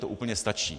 To úplně stačí.